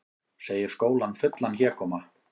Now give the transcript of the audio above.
Segir skólann fullan hégóma